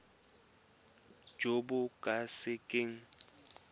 jo bo ka se keng